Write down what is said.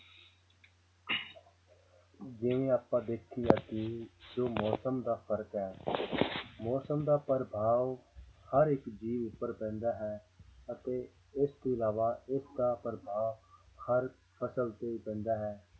ਜਿਵੇਂ ਆਪਾਂ ਦੇਖੀਦਾ ਕਿ ਜੋ ਮੌਸਮ ਦਾ ਫ਼ਰਕ ਹੈ ਮੌਸਮ ਦਾ ਪ੍ਰਭਾਵ ਹਰ ਇੱਕ ਜੀਵ ਉੱਪਰ ਪੈਂਦਾ ਹੈ ਅਤੇ ਇਸ ਤੋਂ ਇਲਾਵਾ ਇਸਦਾ ਪ੍ਰਭਾਵ ਹਰ ਫ਼ਸਲ ਤੇ ਪੈਂਦਾ ਹੈ